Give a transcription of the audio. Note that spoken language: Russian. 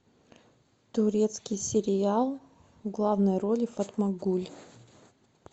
турецкий сериал в главной роли фатмагуль